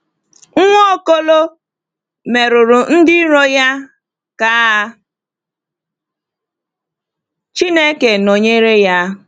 Nwaokolo merụrụ ndị iro ya ka Chineke nọnyere ya.